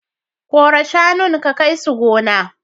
Kora shanun ka kai su gona.